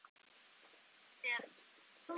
Þitt ferli er erfitt.